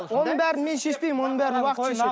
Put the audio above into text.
оның бәрін мен шешпеймін оның бәрін уақыт шешеді